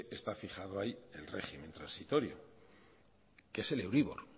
está fijado ahí el régimen transitorio que es el euribor